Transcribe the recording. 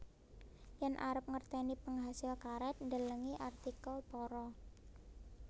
Yen arep ngerteni penghasil karet delengi artikel para